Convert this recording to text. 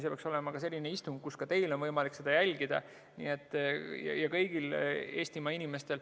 See peaks olema selline istung, mida ka teil ja kõigil Eestimaa inimestel on võimalik jälgida.